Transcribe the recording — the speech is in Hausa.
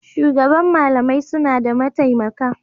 Shugaban malamai suna da mataimaka.